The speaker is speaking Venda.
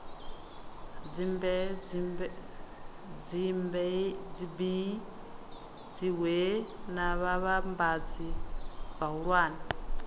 dzibee dziwee na vhavhambadzi vhahulwane